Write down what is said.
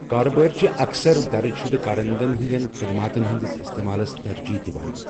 کارٕبٲرۍ چھِ اکثر درٕج شُدٕ كاررندن ہِنٛدِیٚن خٕدماتن ہِنٛدِس اِستعمالس ترجیٖح دِوان۔